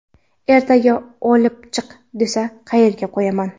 Ertaga olib chiq, desa qayerga qo‘yaman.